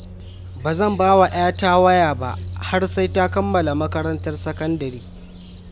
Ba zan ba wa 'yata waya ba har sai ta kammala makarantar sakandare